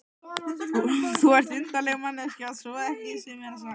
Þú ert undarleg manneskja svo ekki sé meira sagt.